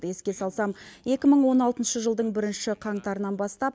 еске салсам екі мың он алтыншы жылдың бірінші қаңтарынан бастап